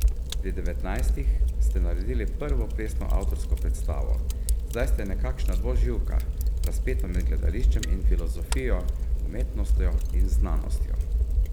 Pri devetnajstih ste naredili prvo plesno avtorsko predstavo, zdaj ste nekakšna dvoživka, razpeta med gledališčem in filozofijo, umetnostjo in znanostjo?